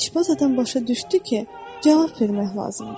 İşbaz adam başa düşdü ki, cavab vermək lazımdır.